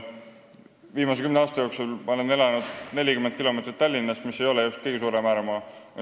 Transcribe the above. Viimased kümme aastat ma olen elanud 40 kilomeetrit Tallinnast, mis ei ole just kõige kaugem ääremaa.